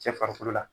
Cɛ farikolo la